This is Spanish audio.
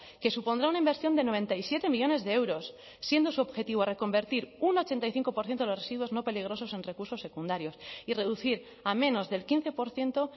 que supondrá una inversión de noventa y siete millónes de euros siendo su objetivo reconvertir un ochenta y cinco por ciento de los residuos no peligrosos en recursos secundarios y reducir a menos del quince por ciento